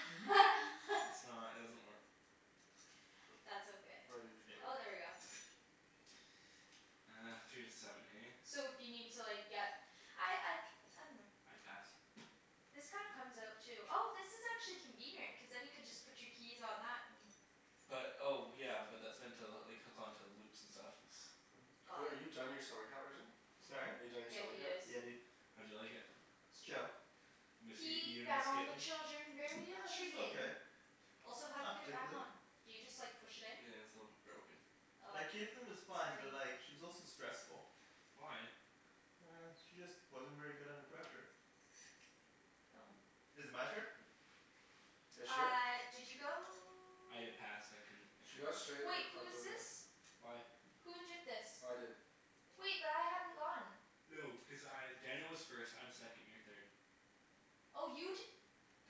I's not, it doesn't work. That's okay. Oh, there we go. Uh, three to seven hey? So if you need to like, get I I I dunno. I pass. This kinda comes out too. Oh this is actually convenient, cuz then you could just put your keys on that, and But, oh yeah, but that's meant to like hook onto loops and stuff, it's Wait, Got are it. you done your summer camp, Arjan? Sorry? Are you done your Yeah, summer he camp? is. Yeah dude. How'd you like it? It's chill. Miss, y- He you gonna miss found the Kaitlyn? children very She's okay. intriguing. Also how do you Not get it back particularly. on? Do you just like push it in? Yeah, it's a little bit broken. Oh. Like Kaitlyn was fine, Sorry. but like she was also stressful. Why? She just wasn't very good under pressure. Oh. Is it my turn? Yeah shit. Uh did you go? I passed. I couldn't, I She couldn't got go. straight Wait, like who fucked is over. this? Why? Who did this? I did. Wait, but I hadn't gone. No, because I, Daniel was first, I'm second, you're third. Oh you d-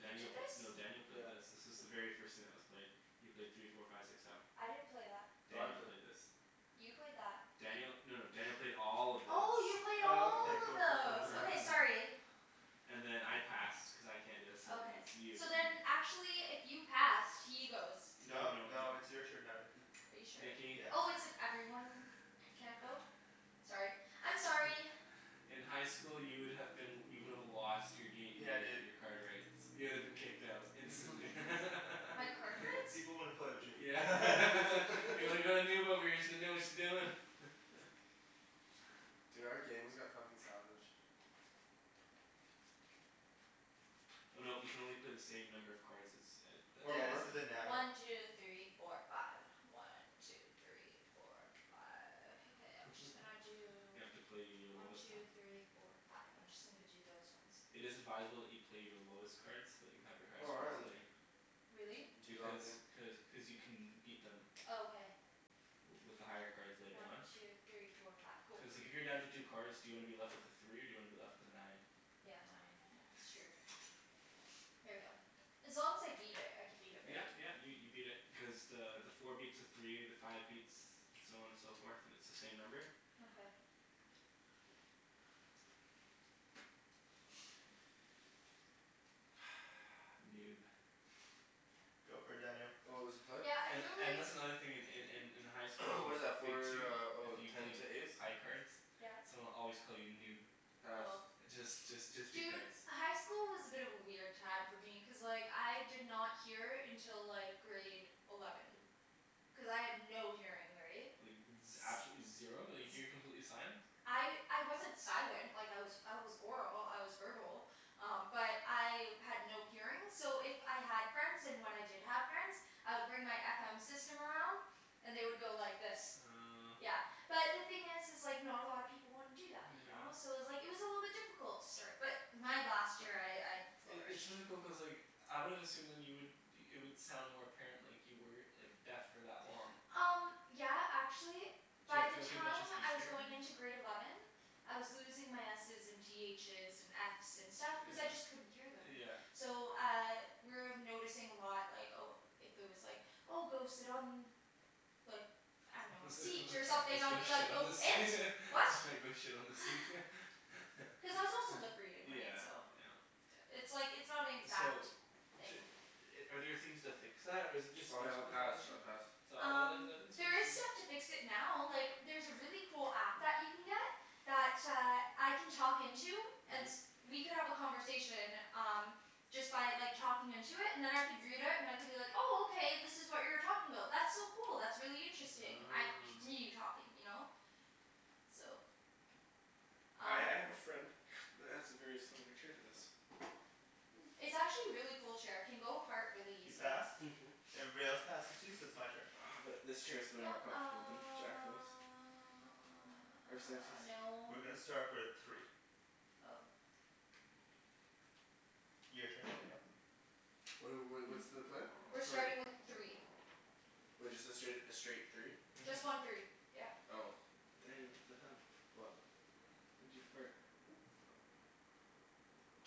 You did p- this? no Daniel played this. This is the very first thing that was played. You played three four five six seven. I didn't play that. No, I Daniel played. played this. You played that. Daniel, no no Daniel played all of this. Oh, you played Oh Oh. okay all of cool cool cool. those. Yeah. Okay sorry. And then I passed cuz I can't, so then Okay. it's you. So then actually if you passed, he goes. No No no no. no it's your turn now, Nikki. Are you sure? Nikki. Yeah. Oh, it's if everyone can't go? Sorry. I'm sorry. In high school you would have been, you would have lost your gam- , Yeah your dude. your card rights. You would have been kicked out instantly. My Peop- card people rights? people wouldn't play with you. Yeah. Yeah we got a noob over here, she doesn't know what she's doing. Dude, our game has got fucking savage. Oh no, you can only play the same number of cards as, a Or Yeah this more. a isn't Nammer. One two three four five. One two three four five. Okay, I'm just gonna do You have to play your One lowest, two three uh four five. I'm just gonna g- do those ones. It is advisable that you play your lowest cards, so that you have your highest Oh cards man. later. Really? D- do you not Because, think cuz cuz you can beat them Oh okay. w- with the higher cards later One on. two three four five. Cool. Cuz like if you're down to two cards, do you wanna be left with a three or do you wanna be left with a nine? Yeah, nine. Yeah, that's true. Here we go. As long as I beat it, I can beat it Yeah right? yeah, you you beat it, because the the four beats a three, the five beats, so on and so forth, and it's the same number. Okay. Noob. Go for it Daniel. What was the play? Yeah, I And feel and like that's another in in in in high school, What is that Big Two for, oh if you ten played to ace? high cards Yes? someone would always call you noob. Pass. Oh. Just just just Dude, because. high school was a bit of a weird time for me, cuz like, I did not hear until like grade eleven. Cuz I had no hearing, right? Like z- absolutely zero? Like you were completely sign? I I wasn't silent, like I was I was oral, I was verbal. Um but I had no hearing, so if I had friends, and when I did have friends I would bring my FM system around. And they would go like this. Uh Yeah. But the thing is is like, not a lot of people wanna do that, you know? So Yeah. it was like, it was a little bit difficult to start. But my last year I, I I- it's flourished. really cool, cuz like I wouldn't assume then you would, it would sound more apparent like you were like deaf for that long. Um yeah, actually Did you by have to the go through a bunch of time speech I was therapy? going into grade eleven I was losing my S's and T H's and F's and stuff cuz I Yeah. just couldn't hear them. Yeah. So uh, we were noticing a lot like, oh if if there was like, oh go sit on like I dunno, a let's go seat or something, I would be like, shit on "Go the seat. it? What?" Go shit on the seat. Cuz I was also lip reading, right? Yeah, So yeah. It's like, it's not an So exact d- are there things to fix that? Or is it just Oh speech yeah, I'll pass, pathology? I pass. Um, there is stuff to fix it now, like there's a really cool app that you can get that uh, I can talk into and Mhm. we could have a conversation, um just by like talking into it, and then I could read it and I could be like, oh okay this is what you were talking about. That's so cool, that's really interesting. I could Oh. continue talking, you know? So I Um I have a friend that has a very similar chair to this. Hmm. It's actually a really cool chair, it can go apart really You easily. passed? Mhm. Everybody else passes too? So it's my turn. Uh but this chair's way No, more comfortable than Jacklyn's. uh no. We're gonna start with three. Oh. Your turn Daniel. What are wh- what's the play? We're Three. starting with three. Wait, just the straight, a straight three? Mhm. Just one three, yeah. Oh. Daniel, what the hell? What? Why'd you fart?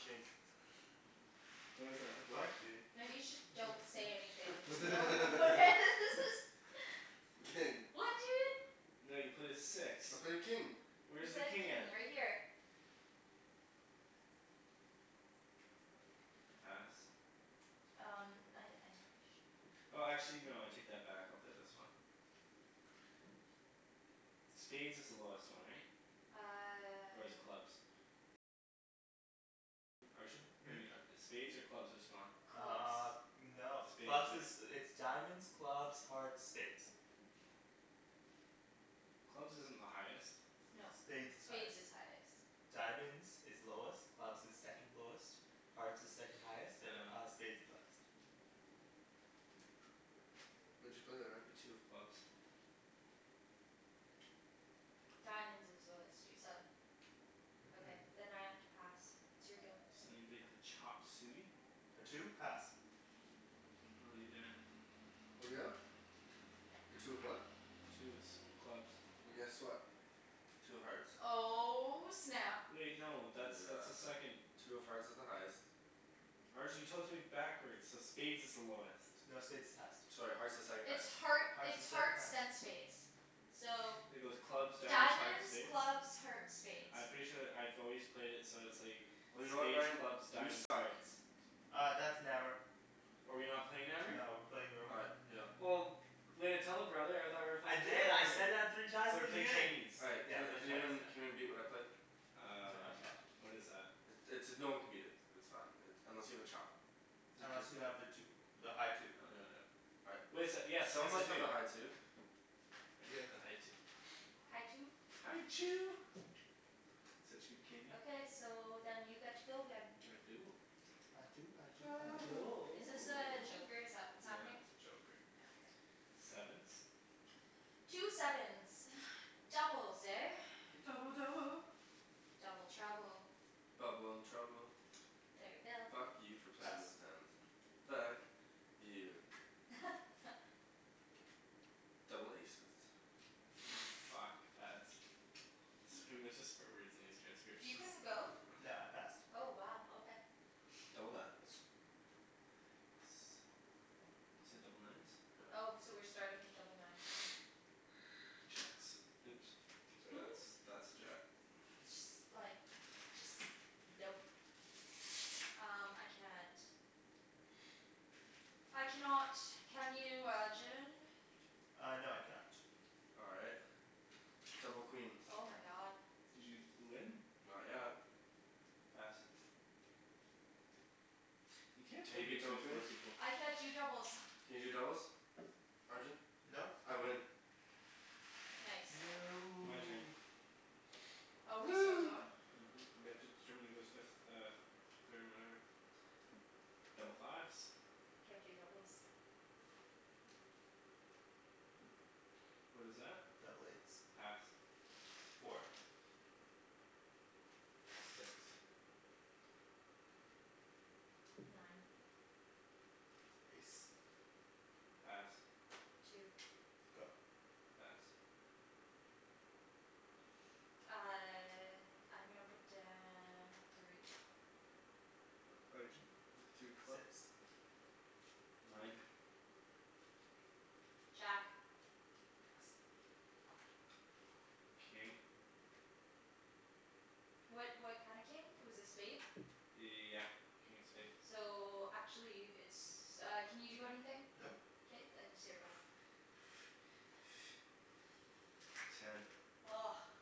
King. What is that, a The fuck, four? dude. Maybe you should, don't say anything, just no one will notice. King. What dude? No, you played a six. I played king. You Where's the played a king at? king, right here. Pass. Um I, I'm pretty sure. Oh actually no, I take that back, I'll play this one. Spades is the lowest one, right? Or is Uh clubs? Hmm? Maybe not. Spades or clubs, what's smaller? Uh. Clubs. No. Spades, Clubs is, right? it's diamonds, clubs, hearts, spades. Clubs isn't the highest. No. Spades is highest. Spades is highest. Diamonds is lowest, clubs is second lowest. Hearts is second highest, and uh Oh. spades is highest. What'd you play there, Ryan? A two of clubs. Diamonds is lowest, you said. Okay, Mhm. then I have to pass. It's your go. Does anybody have a chop suey? A two? Pass. How 'bout you, Daniel? What are we at? A two of what? Two of s- clubs. Well, guess what? Two of hearts. Oh snap. Wait no, that's that's a Yeah. second Two of hearts is the highest. Arjan you told it to me backwards, so spades is the lowest. No, spades is highest. Sorry, hearts is second It's highest. heart, Hearts it's is second hearts highest. then spades. So It goes clubs, diamonds, hearts, Diamonds, spades? clubs, hearts, spades. I'm pretty sure that I've always played it so it's like Well, you know what spades, Ryan? clubs, You diamonds, suck. hearts. Uh, that's Nammer. Oh are we not playing Nammer? No, we're playing Oh normal. right, yeah. Well way to tell a brother, I thought we were I playing did, Nammer I here. said that three times So in we're the playing beginning. Chinese. All right Yeah. can We're playing can Chinese, yeah. anyone can anyone beat what I played? No Um I can't. What is that? I- it's, no one can beat it. It's fine, it, unless you have a chop. Unless you have the two. The high two. Oh no I don't. All right. Wait so, yes Someone yes I must have a do. high two. I do have the high two. High two? High Chew. Such good candy. Okay, so then you get to go again. I do. I do I do I I do. do. Is this a joker, is that what's Yeah, happening? that's a joker. Yeah, okay. Sevens? Two sevens. Doubles, eh? Double double. Double trouble. Bubble and trouble. There we go. Fuck you for Pass. playing those tens. Fuck. You. Double aces. Fuck, pass. It's gonna be a bunch of swear words in these You transcriptions. couldn't go? No, I passed. Oh wow, okay. Double nines. Yes. You said double nines? Yep. Oh, so we're starting with double nines, okay. Jacks. Oops. Sorry that's, that's a jack. Just like Just, nope. Um, I can't. I cannot. Can you Arjan? Uh no, I can not. All right. Double queens. Oh my god. Did you d- win? Not yet. Pass. You can't Can play you beat Big Two double with four queens? people. I can't do doubles. Can you do doubles? Arjan? Nope. I win. Nice. My turn. No. Oh, we're still Woo! going? Mhm. We have to determine who goes fifth, uh f- third and whatever. Double fives. Can't do doubles. What is that? Double eights. Pass. Four. Six. Nine. Ace. Pass. Two. Go. Pass. Uh I'm gonna put down a three. Arjan? Three of clubs? Six. Nine. Jack. Pass. King. What what kind of king? It was a spade? Yeah. King of spade. So, actually it's uh, can you do anything? Nope. K then, it's your go. Ten.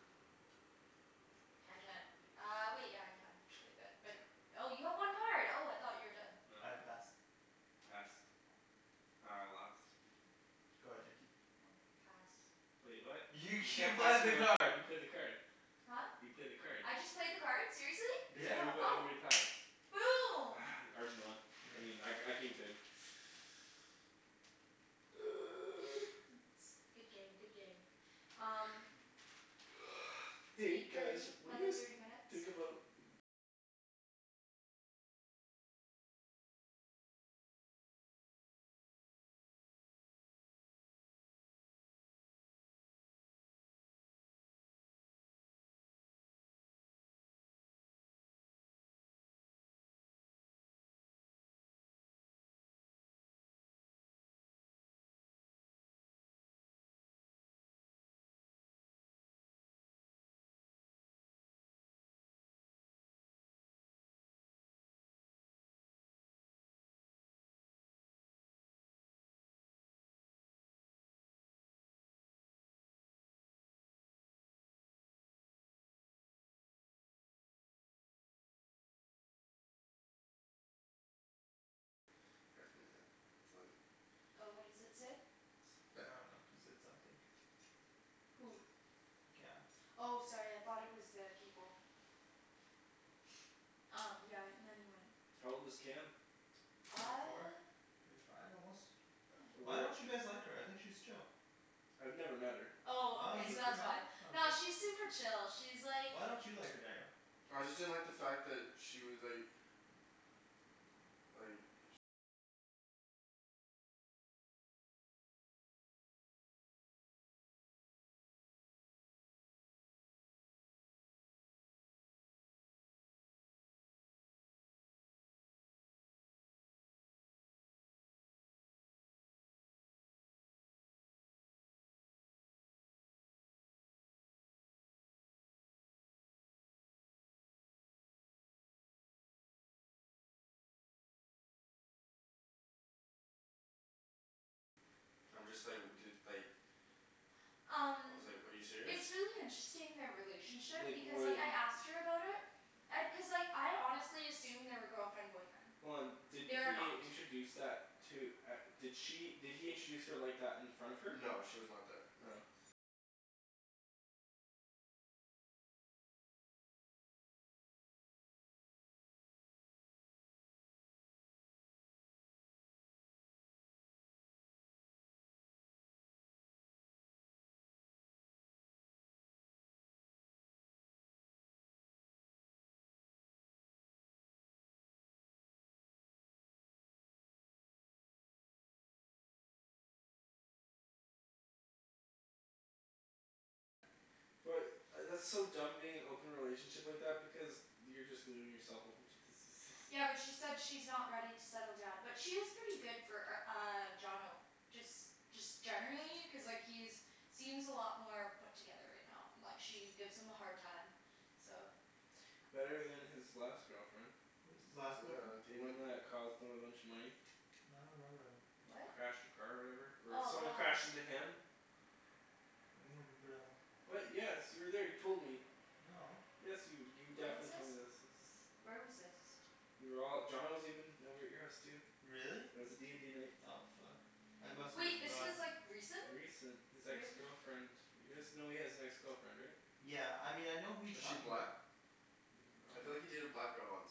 I can't. Uh wait, yeah I can actually, but, but Oh you have one card. Oh I thought you were done. No. I pass. Pass. Oh, I lost. Go ahead Nikki. Hmm, pass. Wait, what? You You you can't pass played the me a new card. card, you played the card. Huh? You played the card. I just played the card? Seriously? Cuz Yeah. everybo- Oh. everybody passed. Boom! Arjan won. Yeah. I mean I, I came third. Good game, good game. Um So Hey eight guys, thirty, what do you another thirty guys minutes. think about paraphernalia. It's like Oh, what does it say? It's I bad. dunno. He said something. Who? Cam. Oh sorry, I thought it was uh people. Um yeah. Not even. How old is Cam? Twenty four? Uh Twenty five almost? Why Where don't you guys like her? I think she's chill. I've never met her. Oh Oh okay, you've so never that's met why. her? Oh okay. Nah, she's super chill, she's like Why don't you like her, Daniel? I just didn't like the fact that she was like like I'm just like, dude, like I Um was like, "Are you serious?" It's really interesting, their relationship, Like because like when I asked her about it and, cuz like I honestly assumed they were girlfriend boyfriend. Hold on, did They are he not. introduce that, to, at, did she, did he introduce her like that in front of her? No she was not there, no. Oh. But, I that's so dumb being in an open relationship like that, because you're just leaving yourself open to diseases. Yeah, but she said she's not ready to settle down. But she is pretty good for r- uh, Johnno. Just, just generally, cuz like he's seems a lot more put together right now. And like she gives him a hard time. So Better than his last girlfriend. What was his last girlfriend? Did The he even one that cost him a bunch of money. I don't remember that one. What? Crashed her car or whatever? Or Oh someone god. crashed into him. remember that one. What? Yes, you were there, you told me. No. Yes you, you Where was definitely this? told me this, this is Where was this? We were all, Johnno was even over at your house too. Really? It was a d and d night. Oh fuck. I must've Wait, this was forgotten. like, recent? Recent? This ex girlfriend You guys know he has an ex girlfriend, right? Yeah. I mean, I know who you Is she talking black? 'bout. Mm, I I feel like he dunno. dated a black girl once.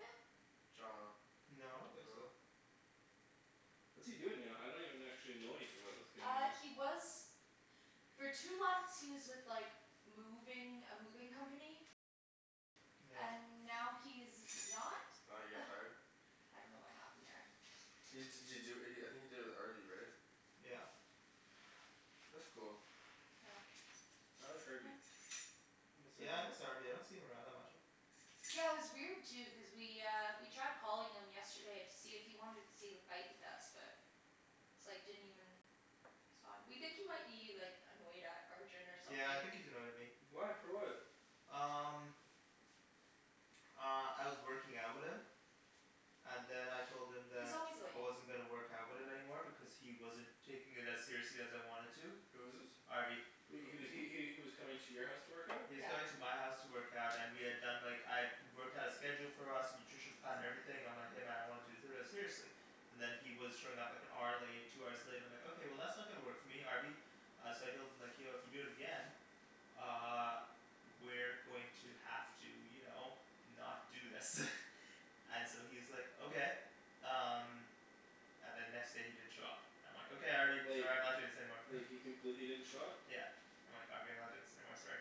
Yeah. Johnno. No, I don't think so. What's he doing now? I don't even actually know anything about this kid Uh, anymore. he was for two months, he was with like moving, a moving company. Yeah. And now he's not. Oh, he got fired? I dunno what happened there. He d- did he do it, I think he did it with Harvey right? Yeah. That's cool. I like Harvey. I miss Yeah I miss Harvey. Harvey, I don't see him around that much. Yeah, it was weird too, cuz we uh, we tried calling him yesterday to see if he wanted to see the fight with us, but it's like, didn't even respond. We think he might be like, annoyed at Arjan or something. Yeah I think he's annoyed at me. Why? For what? Um Uh, I was working out with him. And then I told him He's that always late. I wasn't gonna work out with him anymore because he wasn't taking it as seriously as I wanted to. Who is this? Harvey. He was he he he was coming to your house to work out? He was Yeah. coming to my house to work out and we had done like, I had worked out a schedule for us, nutrition plan, and everything, I'm like "Hey man, I want to do seriously." And then he was showing up like an hour late, two hours late, and I'm like "Okay, that's not gonna work for me, Harvey." Uh so I told him like "Yo, if you do it again uh we're going to have to, you know, not do this. And so he's like "Okay." Um And then next day he didn't show up. I'm like "Okay Harvey, Like sorry I'm not doing this anymore." He completely didn't show up? Yeah. I'm like "Harvey, I'm not doing this anymore, sorry."